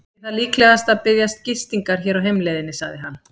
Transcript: Ég þarf líklega að biðjast gistingar hér á heimleiðinni, sagði hann.